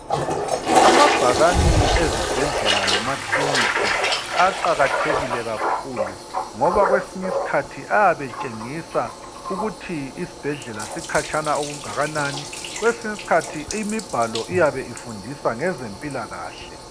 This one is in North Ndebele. amabhakani ezibhedlela lasemakilinika aqhakathekile kakhulu ngoba kwesinye isikhathi ayabe etshengisa ukuthi isibhedlela sikhatshana okungakanani kwesinye isikhathi imibhalo iyabe ifundisa ngezempilakahle